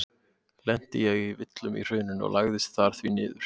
Lenti ég í villum í hrauninu og lagðist þar því niður.